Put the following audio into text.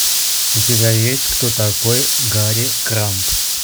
у тебя есть кто такой гарри крамб